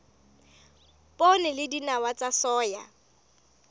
poone le dinawa tsa soya